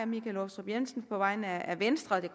michael aastrup jensen på vegne af venstre og det